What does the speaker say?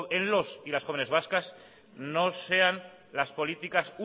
en los y las jóvenes vascas no sean las políticas